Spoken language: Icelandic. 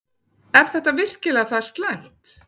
Er þetta virkilega það slæmt?